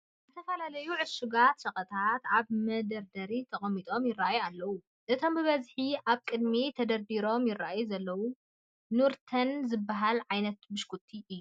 ዝተፈላለዩ ዕሹጋት ሸቀጣት ኣብ መደርደሪ ተቐሚጦም ይርአዩ ኣለዉ፡፡ እቶም ብበዝሒ ኣብ ቅድሚት ተደርዲሮም ይርአዩ ዘለዉ ኑርተን ዝበሃሉ ዓይነት ብሽኩቲ እዮም፡፡